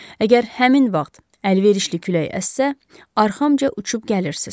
Əgər həmin vaxt əlverişli külək əssə, arxamca uçub gəlirsiniz.